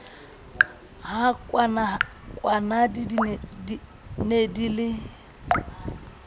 ha kwanadi ne di le